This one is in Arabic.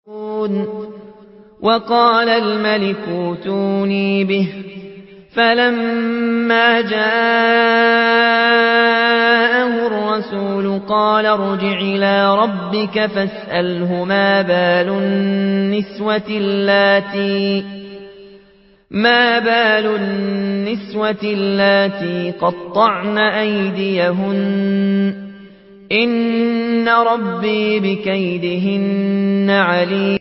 وَقَالَ الْمَلِكُ ائْتُونِي بِهِ ۖ فَلَمَّا جَاءَهُ الرَّسُولُ قَالَ ارْجِعْ إِلَىٰ رَبِّكَ فَاسْأَلْهُ مَا بَالُ النِّسْوَةِ اللَّاتِي قَطَّعْنَ أَيْدِيَهُنَّ ۚ إِنَّ رَبِّي بِكَيْدِهِنَّ عَلِيمٌ